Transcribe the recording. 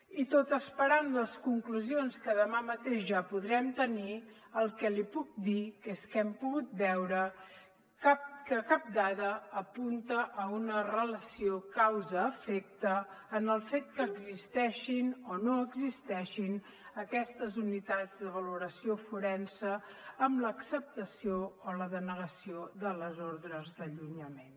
i tot esperant les conclusions que demà mateix ja podrem tenir el que li puc dir és que hem pogut veure que cap dada apunta a una relació causa efecte en el fet que existeixin o no existeixin aquestes unitats de valoració forense en l’acceptació o la denegació de les ordres d’allunyament